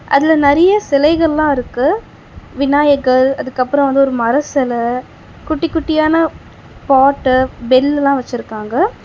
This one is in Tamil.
அதுல நறிய சிலைகள்லா இருக்கு விநாயகர் அதுக்கப்றோ ஒரு வந்து மர செல குட்டி குட்டி ஆன பாட்டு பெல் எல்லா வச்சிருக்காங்க.